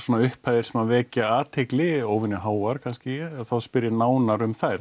upphæðir sem svona vekja athygli eru óvenjuháar kannski þá spyr ég nánar um þær